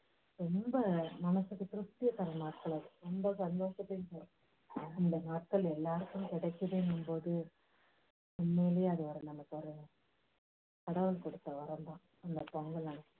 ரொம்ப மனசுக்கு திருப்தியை தர்ற நாட்கள் அது. ரொம்ப சந்தோஷத்தையும் தரும் அந்த நாட்கள் எல்லாருக்கும் கிடைக்குதுன்னும் போது உண்மையிலேயே அது ஒரு நமக்கு ஒரு கடவுள் கொடுத்த வரம் தான்.